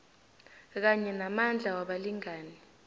kanye namandla wabalingani